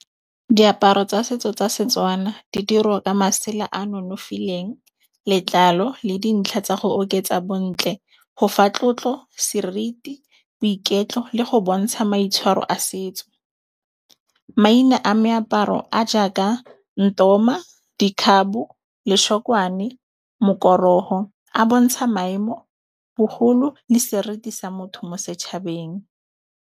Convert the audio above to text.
Diaparo tsa setso tsa setswana di dirwa ka masela a nonofileng letlalo le dintlha tsa go oketsa bontle, go fa tlotlo, seriti boiketlo le go bontsha maitshwaro a setso. Maina a meaparo a jaaka ntoma, dikhabo, lešokwane, mokorogo a bontsha maemo bogolo le sereti sa motho mo setshabeng.